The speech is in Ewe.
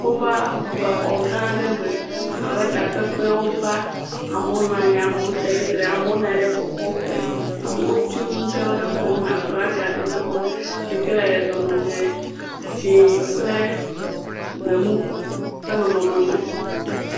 Wova exɔ gã aɖe me abe takpekpeme wova. Amewo naa nyi, amewo tsa tsitre. Amewo naa nyi ɖe kɔkɔƒe. Amewo ti nu ɖewo ɖe xɔme. Aflaga ɖewo le xɔme si ke le dzẽ kple gbemu ƒe nɔnɔme me.